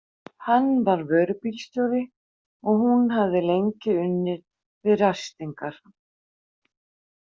Hann var vörubílsjóri og hún hafði lengi unnið við ræstingar.